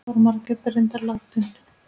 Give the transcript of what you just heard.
Þá var Margrét reyndar látin.